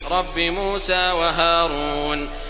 رَبِّ مُوسَىٰ وَهَارُونَ